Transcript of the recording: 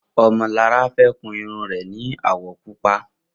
Omolara fè kùn irùn rè ni áwọ̀ púpà